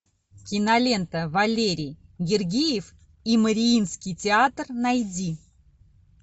кинолента валерий гергиев и мариинский театр найди